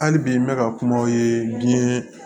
Hali bi n bɛ ka kuma o ye diɲɛ